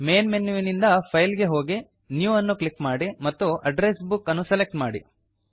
main ಮೆನುವಿನಿಂದ file ಗೆ ಹೋಗಿ ನ್ಯೂ ಅನ್ನು ಕ್ಲಿಕ್ ಮಾಡಿ ಮತ್ತು ಅಡ್ರೆಸ್ ಬುಕ್ ಅನ್ನು ಸೆಲೆಕ್ಟ್ ಮಾಡಿ